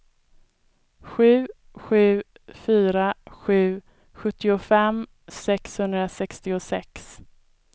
sju sju fyra sju sjuttiofem sexhundrasextiosex